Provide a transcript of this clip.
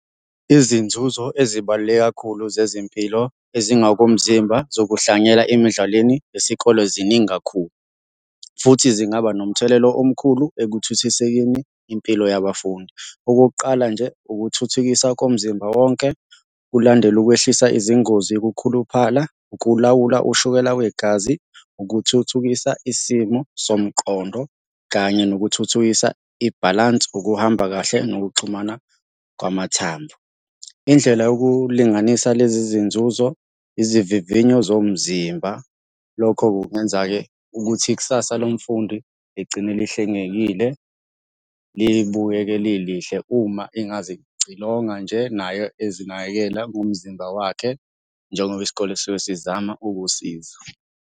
Izinzuzo ezibaluleke kakhulu zezempilo ezingakomzimba zokuhlanganyela emidlalweni yesikole ziningi kakhulu, futhi zingaba nomthelelo omkhulu ekuthuthusekeni impilo yabafundi. Okokuqala nje, ukuthuthukisa komzimba wonke, kulandela ukwehlisa izingozi, ukukhuluphala, ukulawula ushukela wegazi, ukuthuthukisa isimo somqondo, kanye nokuthuthukisa ibhalansi ukuhamba kahle nokuxhumana kwamathambo. Indlela yokulinganisa lezi zinzuzo, izivivinyo zomzimba, lokho kungenza-ke ukuthi ikusasa lomfundi ligcine lihlengekile libukeke lilihle uma engazicilonga nje naye ezinakekela ngomzimba wakhe njengoba isikole siyobe sizama ukusiza.